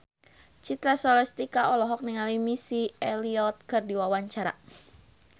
Citra Scholastika olohok ningali Missy Elliott keur diwawancara